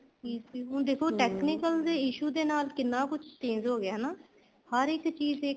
easily ਹੁਣ ਦੇਖੋ technical ਦੇ issue ਦੇ ਨਾਲ ਕਿੰਨਾ ਕੁੱਛ change ਹੋ ਗਿਆ ਹਨਾ ਹਰ ਇੱਕ ਚੀਜ਼